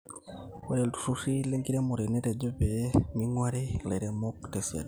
ore iltururi lenkiremore netejo pee ming'uari ilairemok tesiadi